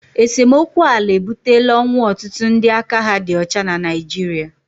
esemokwu ala ebutela ọnwụ ọtụtụ ndị aka ha dị ọcha na Naịjirịa